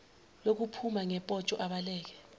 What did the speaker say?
lokuphuma ngopotsho abaleke